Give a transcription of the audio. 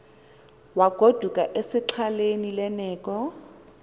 wagoduka esexhaleni lerneko